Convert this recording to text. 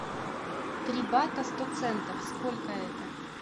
три бата сто центов сколько это